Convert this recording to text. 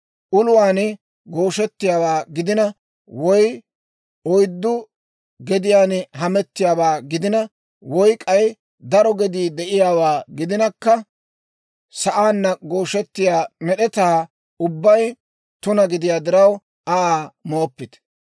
Uluwaan gooshettiyaawaa gidina, woy oyddu gediyaan hametiyaawaa gidina, woy k'ay daro gedii de'iyaawaa gidinakka, sa'aanna gooshettiyaa med'etaa ubbay tuna gidiyaa diraw Aa mooppite.